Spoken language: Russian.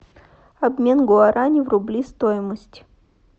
обмен гуарани в рубли стоимость